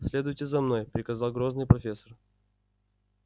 следуйте за мной приказал грозный профессор